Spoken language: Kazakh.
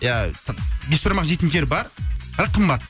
ия бешбармақ жейтін жер бар бірақ қымбат